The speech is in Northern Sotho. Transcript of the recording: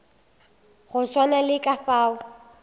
go swana le ka fao